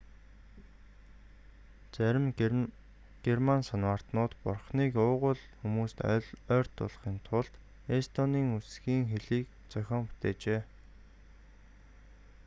зарим герман санваартнууд бурхныг уугуул хүмүүст ойртуулахын тулд эстонийн үсгийн хэлийг зохион бүтээжээ